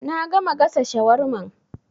Na gama gasa shawarman